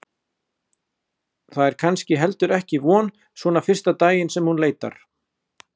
Það er kannski heldur ekki von svona fyrsta daginn sem hún leitar.